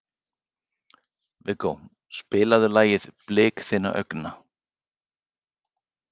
Viggó, spilaðu lagið „Blik þinna augna“.